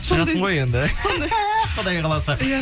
шығасың ғой енді құдай қаласа иә